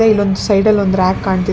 ಇದೆ ಇಲ್ಲೊಂದ್ ಸೈಡ ಲ್ಲೊಂದ್ ರಾಕ್ ಕಾಣ್ತಿದೆ.